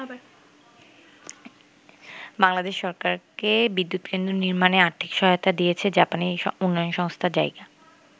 বাংলাদেশ সরকারকে বিদ্যুৎকেন্দ্র নির্মাণে আর্থিক সহায়তা দিয়েছে জাপানী উন্নয়ন সংস্থা জাইকা।